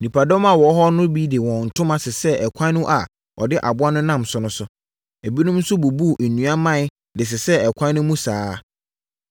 Nnipadɔm a wɔwɔ hɔ no bi de wɔn ntoma sesɛɛ ɛkwan a ɔde aboa no nam so no so. Ebinom nso bubuu nnua mman de sesɛɛ ɛkwan no mu saa ara.